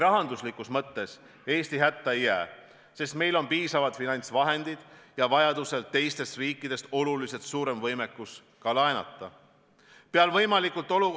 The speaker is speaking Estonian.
Rahanduslikus mõttes Eesti riik hätta ei jää, sest meil on piisavad finantsvahendeid ja ka teistest riikidest oluliselt suurem võimekus laenata, kui vaja.